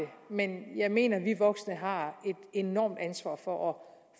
men jeg mener at vi voksne har et enormt ansvar for